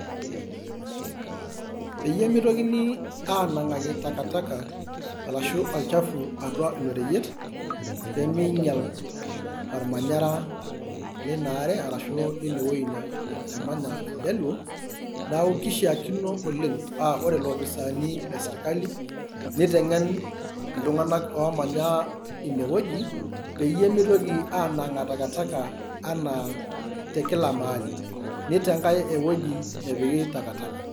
peyie mitokini aanangaki takataka ashu olchafu atua ilo reyiet, pee meingial olmanyara ,leina are arashu leine wueji nemanya iljaluo neeku keishaakino oleng ,ore ilopisaani lesirkali, neitengen iltunganak oomanya one wueji pee meitoki anang'aa takataka anaa te Kila mahali, neitenkae ewueji nepiki takataka